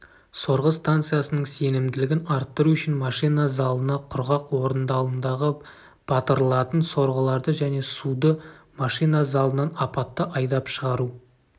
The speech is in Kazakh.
сорғы станциясының сенімділігін арттыру үшін машина залына құрғақ орындалымдағы батырылатын сорғыларды және суды машина залынан апатты айдап шығару